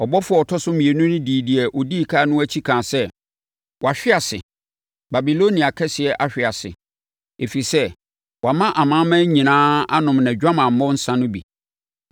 Ɔbɔfoɔ a ɔtɔ so mmienu dii deɛ ɔdi ɛkan no akyi kaa sɛ. “Wahwe ase! Babilonia kɛseɛ ahwe ase! Ɛfiri sɛ, wama amanaman nyinaa anom nʼadwamammɔ nsã no bi.”